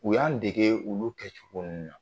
U y'an dege olu kɛcogo ninnu na